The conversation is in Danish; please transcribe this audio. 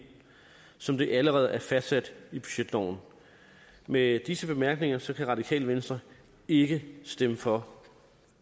som det allerede er fastsat i budgetloven med disse bemærkninger skal radikale venstre ikke kan stemme for